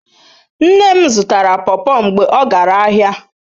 Nne m zutara pawpaw mgbe o gara ahia